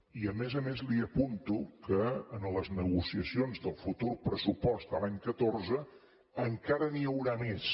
i a més a més li apunto que en les negociacions del futur pressupost de l’any catorze encara n’hi haurà més